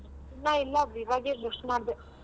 ಇನ್ನ ಇಲ್ಲ ಈವಾಗೆ brush ಮಾಡ್ದೆ.